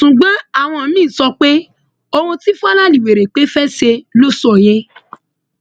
ṣùgbọn àwọn míín sọ pé ohun tí fàlàlì wérépé fẹ́ ṣe ló sọ yẹn